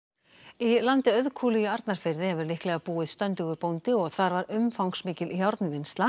í landi Auðkúlu í Arnarfirði hefur líklega búið stöndugur bóndi og þar var umfangsmikil